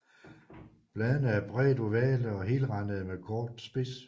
Bladene er bredt ovale og helrandede med kort spids